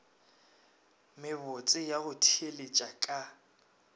mebotse ya go theeletša ka